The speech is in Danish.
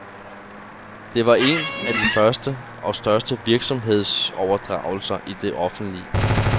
Det var en af de første og største virksomhedsoverdragelser i den offentlige.